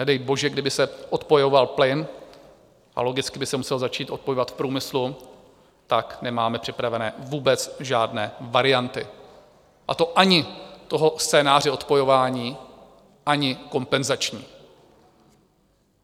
Nedej bože, kdyby se odpojoval plyn, a logicky by se musel začít odpojovat v průmyslu, tak nemáme připravené vůbec žádné varianty, a to ani toho scénáře odpojování, ani kompenzační.